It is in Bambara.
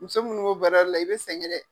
Muso minnu b'o baara la i bɛ sɛgɛn dɛ.